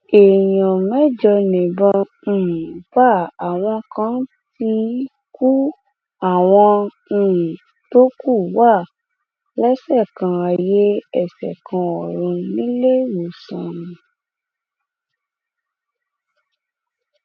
èèyàn mẹjọ níbọn um bá àwọn kan ti kú àwọn um tó kù wá lẹsẹ kan ayé ẹṣẹ kan ọrun níléewọsán